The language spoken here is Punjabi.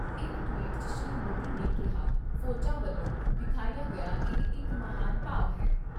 ਇਕ ਟਵੀਟ 'ਚ ਸ਼੍ਰੀ ਮੋਦੀ ਨੇ ਕਿਹਾ ਫੌਜਾਂ ਵੱਲੋਂ ਵਿਖਾਇਆ ਗਿਆ ਇਹ ਇਕ ਮਹਾਨ ਭਾਵ ਏ।